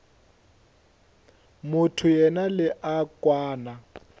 motho yena le a kwana